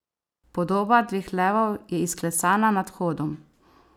Podoba dveh levov je izklesana nad vhodom.